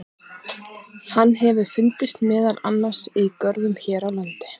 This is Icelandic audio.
Hann hefur fundist meðal annars í görðum hér á landi.